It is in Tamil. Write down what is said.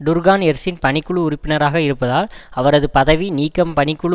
டுர்கான் எர்சின் பணிக்குழு உறுப்பினராக இருப்பதால் அவரது பதவி நீக்கம் பணிக்குழு